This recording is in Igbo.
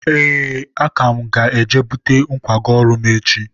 ee, aka m ga-eje bute nkwago ọrụ m echi.